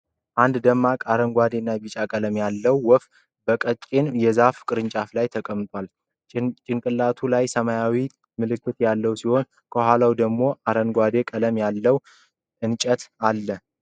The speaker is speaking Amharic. አንድ ደማቅ አረንጓዴ እና ቢጫ ቀለም ያለው ወፍ በቀጭን የዛፍ ቅርንጫፍ ላይ ተቀምጧል። ጭንቅላቱ ላይ ሰማያዊ ምልክቶች ያሉት ሲሆን፣ ከኋላው ደግሞ አረንጓዴ ቀለም ያለው እንጨት አለ።